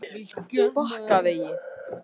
Bakkavegi